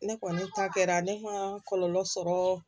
Ne kɔni ta kɛra ne kuma kɔlɔlɔ sɔrɔ